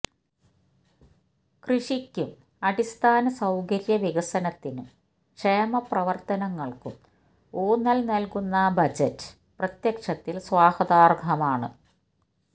കൃഷിക്കും അടിസ്ഥാന സൌകര്യ വികസനത്തിനും ക്ഷേമപ്രവര്ത്തനങ്ങള്ക്കും ഊന്നല് നല്കുന്ന ബജറ്റ് പ്രത്യക്ഷത്തില് സ്വാഗതാര്ഹമാണ്